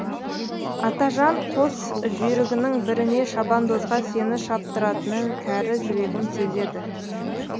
атажан қос жүйрігінің біріне шабандозға сені шаптыратынын кәрі жүрегім сезеді